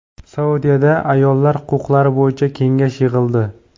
Saudiyada ayollar huquqlari bo‘yicha kengash yig‘ildi.